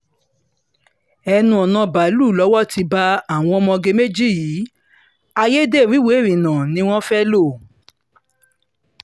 ẹnu-ọ̀nà báàlúù lowó ti bá àwọn ọmọge méjì yìí ayédèrú ìwé ìrìnnà ni wọ́n fẹ́ẹ́ lò